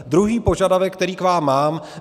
Druhý požadavek, který k vám mám.